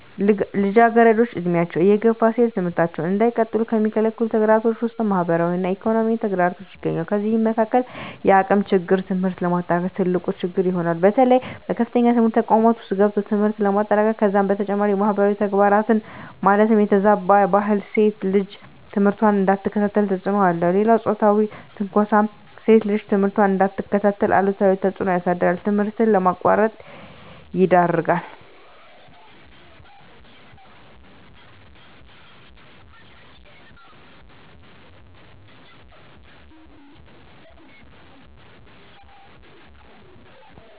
ልጃገረዶች ዕድሜያቸው እየገፋ ሲሄድ ትምህርታቸውን እንዳይቀጥሉ ከሚከለክሉ ተግዳሮቶች ውስጥ ማህበራዊ እና ኢኮኖሚያዊ ተግዳሮቶች ይገኙበታል። ከነዚህም መካካል የአቅም ችግር ትምህርት ለማጠናቀቅ ትልቁ ችግር ይሆናል። በተለይ በከፍተኛ ትምህርት ተቋማት ውስጥ ገብቶ ትምህርትን ለማጠናቀቅ ከዛም በተጨማሪ ማህበራዊ ተግዳሮት ማለትም የተዛባ ባህል ሴት ልጅ ትምህርቷን እንዳትከታተል ተፅዕኖ አለው። ሌላው ፆታዊ ትንኳሳም ሴት ልጅ ትምህርቷን እንዳትከታተል አሉታዊ ተፅዕኖ ያሳድራል ትምህርት ለማቋረጥ ይዳርጋል።